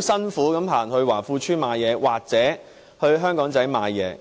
辛苦地去華富邨或香港仔買東西。